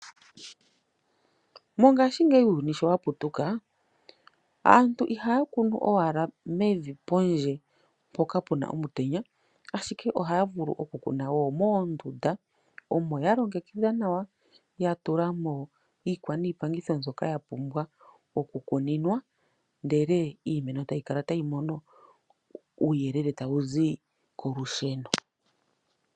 Mongashingeyi uuyuni shoowa putuka , aantu ihaya kunu we momutenya pondje ohaya kunu wo moondunda omo yalongekidha nawa niimeno otayi kala tayi mono uuyelele wagwana nawa tawu zi kolusheno.